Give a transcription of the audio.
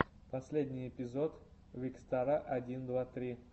последний эпизод викстара один два три